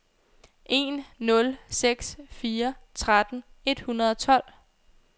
en nul seks fire tretten et hundrede og tolv